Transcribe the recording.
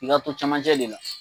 I ka ko camanjɛ le la.